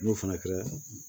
N'o fana kɛra